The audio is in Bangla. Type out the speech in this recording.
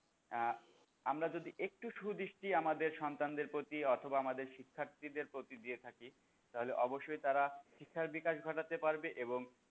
আহ আমরা যদি একটু সুদৃষ্টি আমাদের সন্তানদের প্রতি অথবা আমাদের শিক্ষার্থীদের প্রতি দিয়ে থাকি তাহলে অবশ্যই তারা শিক্ষার বিকাশ ঘটাতে পারবে এবং,